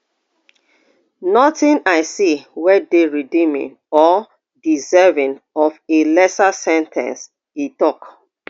nothing i see wey dey redeeming or deserving of a lesser sen ten ce e tok